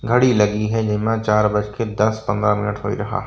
घडी लगी है जेमा चार बजके दस पंद्रह मिनिट होइ रहा।